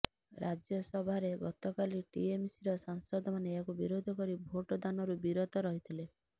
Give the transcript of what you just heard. ରାଜ୍ୟସଭାରେ ଗତକାଲି ଟିଏମସିର ସାଂସଦମାନେ ଏହାକୁ ବିରୋଧ କରି ଭୋଟ ଦାନରୁ ବିରତ ରହିଥିଲେ